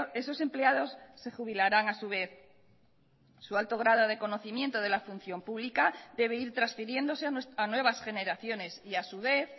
esos empleados se jubilarán a su vez su alto grado de conocimiento de la función pública debe ir transfiriéndose a nuevas generaciones y a su vez